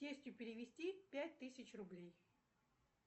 тестю перевести пять тысяч рублей